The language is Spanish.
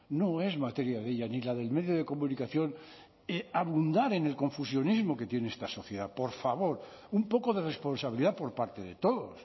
no es materia de ella ni la del medio de comunicación abundar en el confusionismo que tiene esta sociedad por favor un poco de responsabilidad por parte de todos